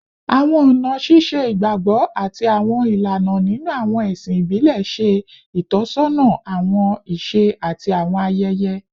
Awọn ọna ṣiṣe igbagbọ ati awọn ilana ninu awọn ẹsin ibile ṣe itọsọna awọn iṣe ati awọn ayẹyẹ